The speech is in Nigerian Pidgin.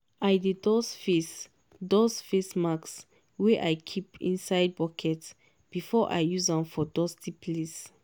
i dey dust face dust face mask wey i keep inside bucket before i use am for dusty place.